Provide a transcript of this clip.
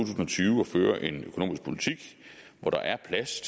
og tyve og fører en økonomisk politik hvor der er plads